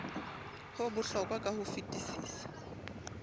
ho bohlokwa ka ho fetisisa